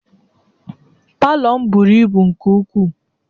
Palọ m buru ibu nke ukwuu